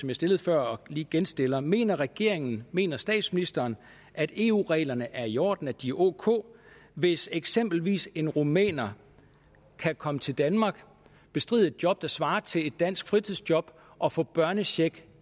jeg stillede før og lige genstiller enkelhed mener regeringen mener statsministeren at eu reglerne er i orden at de er ok hvis eksempelvis en rumæner kan komme til danmark bestride et job der svarer til et dansk fritidsjob og få børnecheck